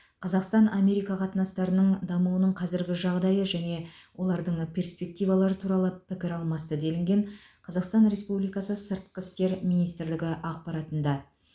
қазақстан америка қатынастарының дамуының қазіргі жағдайы және олардың перспективалары туралы пікір алмасты делінген қазақстан республикасы сыртқы істер министрлігі ақпаратында